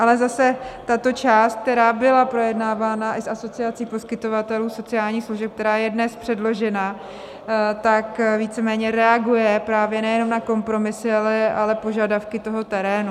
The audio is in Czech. Ale zase tato část, která byla projednávána i s Asociací poskytovatelů sociálních služeb, která je dnes předložena, tak víceméně reaguje právě nejenom na kompromisy, ale požadavky toho terénu.